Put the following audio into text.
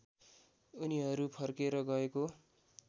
उनीहरू फर्केर गएको